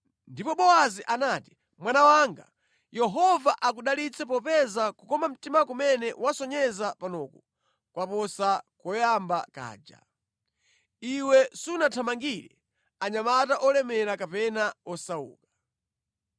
Ndipo Bowazi anati, “Mwana wanga, Yehova akudalitse popeza kukoma mtima kumene wasonyeza panoku kwaposa koyamba kaja. Iwe sunathamangire anyamata olemera kapena osauka.